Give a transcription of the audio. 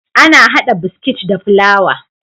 Ana hada biskit da fulawa